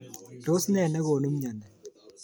Tos ne nekonu mnyoni?